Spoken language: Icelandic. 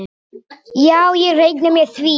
Já ég reikna með því.